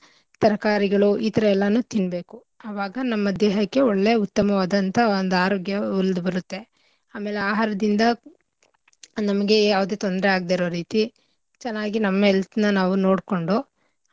ತರಕಾರಿಗಳು ಈಥರ ಎಲ್ಲಾನೂ ತಿನ್ಬೇಕು ಆವಾಗ ನಮ್ಮ ದೇಹಕ್ಕೆ ಒಳ್ಳೇ ಉತ್ತಮವಾದಂಥ ಒಂದ್ ಆರೋಗ್ಯ ಒಲ್ದ್ಬರತ್ತೆ. ಅಮೇಲೆ ಆಹಾರದಿಂದ ನಮ್ಗೆ ಯಾವ್ ತೊಂದ್ರೆ ಆಗ್ದೆ ಇರೋ ರೀತಿ ಚೆನ್ನಾಗಿ ನಮ್ಮ health ನ ನಾವು ನೋಡ್ಕೊಂಡು.